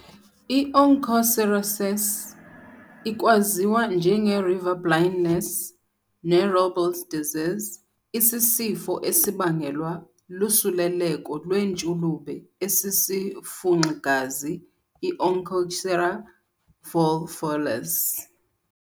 I-Onchocerciasis, ikwaziwa njenge-river blindness ne-Robles disease, isisifo esibangelwa lusuleleko lwentshulube esisifunxi-gazi i-"Onchocerca volvulus".